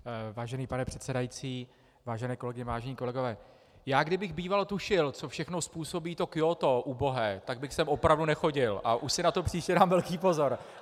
Vážený pane předsedající, vážené kolegyně, vážení kolegové, já kdybych býval tušil, co všechno způsobí to Kjótó, ubohé, tak bych sem opravdu nechodil a už si na to příště dám velký pozor.